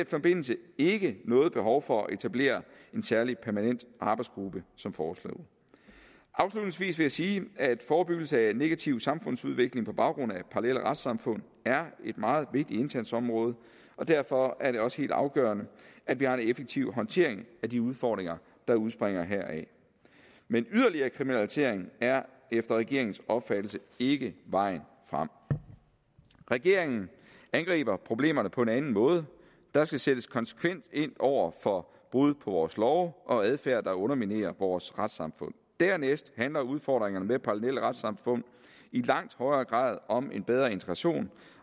forbindelse ikke noget behov for at etablere en særlig permanent arbejdsgruppe som foreslået afslutningsvis vil jeg sige at forebyggelse af en negativ samfundsudvikling på baggrund af parallelle retssamfund er et meget vigtigt indsatsområde og derfor er det også helt afgørende at vi har en effektiv håndtering af de udfordringer der udspringer heraf men yderligere kriminalisering er efter regeringens opfattelse ikke vejen frem regeringen angriber problemerne på en anden måde der skal sættes konsekvent ind over for brud på vores love og adfærd der underminerer vores retssamfund dernæst handler udfordringerne med parallelle retssamfund i langt højere grad om en bedre integration